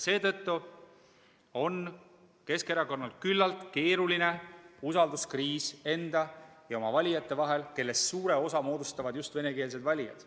Seetõttu on Keskerakonnal küllaltki keeruline usalduskriis enda ja oma valijate vahel, kellest suure osa moodustavad just venekeelsed inimesed.